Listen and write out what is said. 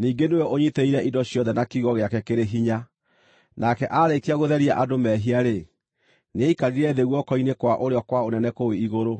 ningĩ nĩwe ũnyiitĩrĩire indo ciothe na kiugo gĩake kĩrĩ hinya. Nake aarĩkia gũtheria andũ mehia-rĩ, nĩaikarire thĩ guoko-inĩ kwa ũrĩo kwa Ũnene kũu igũrũ.